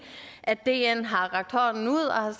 at dn har rakt hånden ud og har